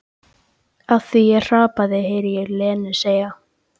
Af því ég hrapaði, heyri ég Lenu segja.